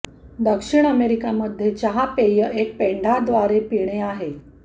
दक्षिण अमेरिका मध्ये चहा पेय एक पेंढा द्वारे पिणे आहे